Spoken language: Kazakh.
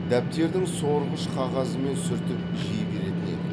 дәптердің сорғыш қағазымен сүртіп жей беретін едік